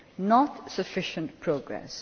Not sufficient progress.